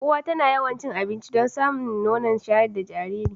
Uwa tana yawan cin abinci don samun nono shayar da jajiri